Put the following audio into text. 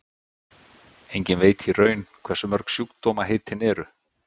Enginn veit í raun hversu mörg sjúkdómaheitin eru.